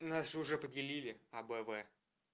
нас уже поделили а б в